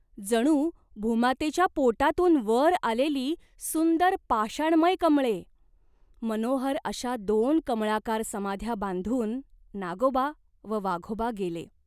जणू भूमातेच्या पोटातून वर आलेली सुंदर पाषाणमय कमळे." मनोहर अशा दोन कमळाकार समाध्या बांधून नागोबा व वाघोबा गेले.